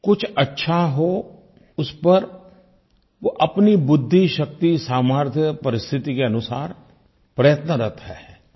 कुछ अच्छा हो उस पर वो अपनी बुद्धि शक्ति सामर्थ्य परिस्थिति के अनुसार प्रयत्नरत हैं